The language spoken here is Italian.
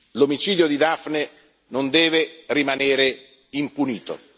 L'omicidio di Daphne non deve rimanere impunito.